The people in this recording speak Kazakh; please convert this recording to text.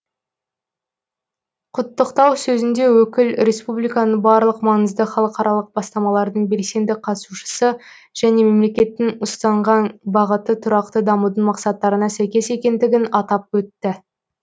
құттықтау сөзінде өкіл республиканың барлық маңызды халықаралық бастамалардың белсенді қатысушысы және мемлекеттің ұстанған бағыты тұрақты дамудың мақсаттарына сәйкес екендігін атап өтті